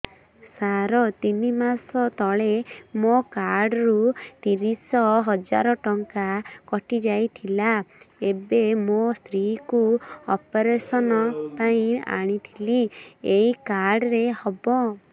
ସାର ତିନି ମାସ ତଳେ ମୋ କାର୍ଡ ରୁ ତିରିଶ ହଜାର ଟଙ୍କା କଟିଯାଇଥିଲା ଏବେ ମୋ ସ୍ତ୍ରୀ କୁ ଅପେରସନ ପାଇଁ ଆଣିଥିଲି ଏଇ କାର୍ଡ ରେ ହବ